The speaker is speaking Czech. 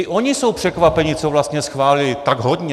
I oni jsou překvapeni, co vlastně schválili, tak hodně.